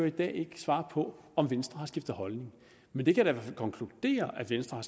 i dag ikke svare på om venstre har skiftet holdning men det kan jeg fald konkludere at venstre